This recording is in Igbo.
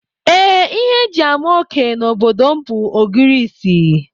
Ee, ihe e ji ama oké n'obodo m bụ ogirisi